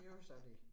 Det jo så det